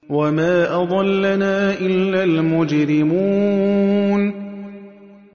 وَمَا أَضَلَّنَا إِلَّا الْمُجْرِمُونَ